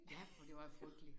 Ja for det var frygteligt